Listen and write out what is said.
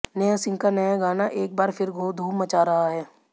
नेहा सिंह का नया गाना एक बार फिर धूम मचा रहा है